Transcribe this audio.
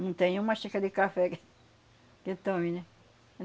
Não tem uma xícara de café que que tome, né?